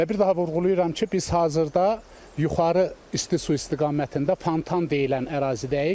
Və bir daha vurğulayıram ki, biz hazırda Yuxarı isti su istiqamətində fontan deyilən ərazidəyik.